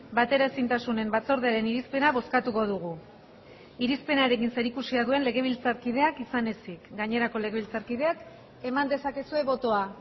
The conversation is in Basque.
bateraezintasunen batzordearen irizpena bozkatuko dugu irizpenarekin zerikusia duen legebiltzarkideak izan ezik gainerako legebiltzarkideak eman dezakezue botoa